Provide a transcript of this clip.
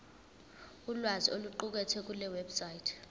ulwazi oluqukethwe kulewebsite